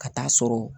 Ka taa sɔrɔ